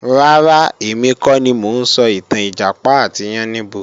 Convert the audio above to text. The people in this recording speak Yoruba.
Rárá, èmi kọ́ ni mo ń sọ ìtàn Ìjàpá àti Yáníbo